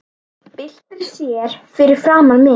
Byltir sér fyrir framan mig.